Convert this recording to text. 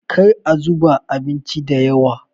kar a zuba abincin da yawa!